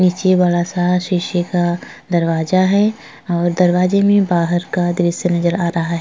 नीचे वाला सारा शीशे का दरवाज़ा है और दरवाज़े में बाहर का दृश्य नज़र आ रहा है।